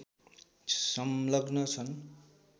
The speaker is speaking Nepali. संलग्न छन्